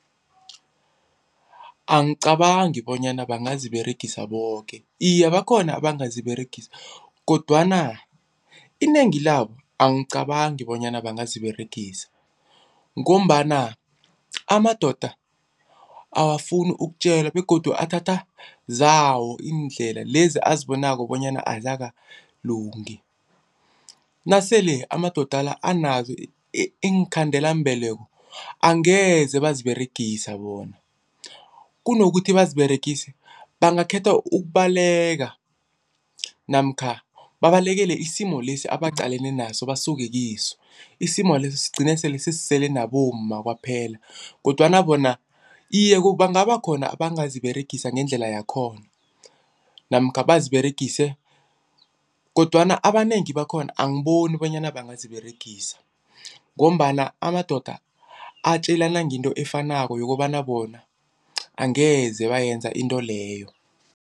Angicabangi bonyana bangaziberegisa boke. Iye, bakhona abangaziberegisa kodwana inengi labo angicabangi bonyana bangaziberegisa ngombana amadoda akafuni ukutjelwa begodu athatha zawo iindlela lezi abazibonako bonyana azakalungi. Nasele amadoda la anazo iinkhandelambeleko angeze baziberegisa bona. Kunokuthi baziberegise bangakhetha ukubaleka namkha babalekele isimo lesi abaqalene naso basuke kiso, isimo leso sigcine sele sisele nabomma kwaphela kodwana bona, iye bangabakhona abangaziberegisa ngendlela yakhona namkha baziberegise kodwana abanengi bakhona angiboni bonyana bangaziberegisa, ngombana amadoda atjelana ngento efanako yokobana bona angeze bayenza into leyo.